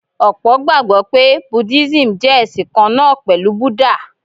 Ọ̀pọ̀ gbàgbọ́ pé Buddhism jẹ́ ẹ̀sìn kan náà pẹ̀lú Buddha.